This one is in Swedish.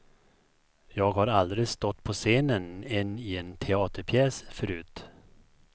Jag har aldrig stått på scenen en i en teaterpjäs förut.